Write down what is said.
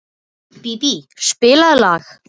Bíbí, spilaðu lag.